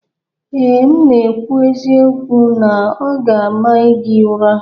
Ee, m na-ekwu eziokwu na ọ ga-ama gị ụra